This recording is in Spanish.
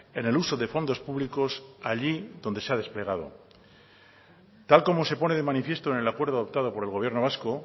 en el uso de fondos públicos allí donde se ha desplegado tal y como se pone de manifiesto en el acuerdo adoptado por el gobierno vasco